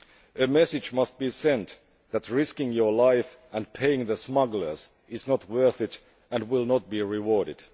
A message must be sent that risking your life and paying the smugglers is not worth it and will not be rewarded.